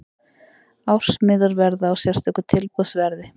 Ársmiðar verða á sérstöku tilboðsverði.